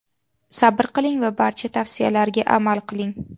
Sabr qiling va barcha tavsiyalarga amal qiling.